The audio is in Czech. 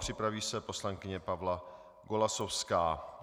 Připraví se poslankyně Pavla Golasowská.